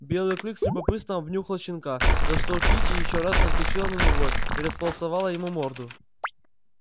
белый клык с любопытством обнюхал щенка за что кичи ещё раз наскочила на него и располосовала ему морду